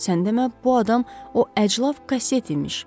Sən demə bu adam o əclaf kasset imiş.